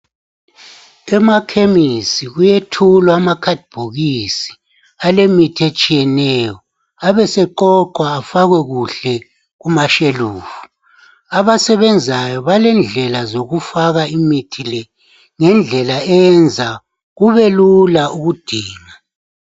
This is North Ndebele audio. Emakhemisi kuyethulwa amakhadibhokisi alemithi etshiyeneyo ebeseqoqwa afakwe kuhle kumashelufu abasebenzayo balendlela zokufaka imithi le ngendlela eyenza kube lula ukudinga.